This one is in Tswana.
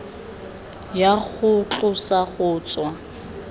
ya go tlosa go tswa